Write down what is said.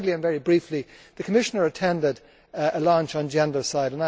Thirdly, and very briefly, the Commissioner attended a launch on gendercide.